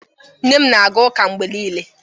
nne m na-aga ụka mgbe niile